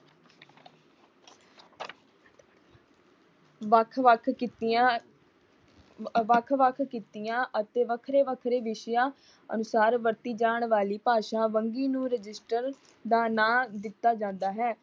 ਵੱਖ-ਵੱਖ ਕਿੱਤਿਆਂ ਵੱਖ-ਵੱਖ ਕਿੱਤਿਆਂ ਅਤੇ ਵੱਖਰੇ ਵੱਖਰੇ ਵਿਸ਼ਿਆਂ ਅਨੁਸਾਰ ਵਰਤੀ ਜਾਣ ਵਾਲੀ ਭਾਸ਼ਾ ਵਨੰਗੀ ਨੂੰ ਰਜਿਸਟਰ ਦਾ ਨਾਮ ਦਿੱਤਾ ਜਾਂਦਾ ਹੈ।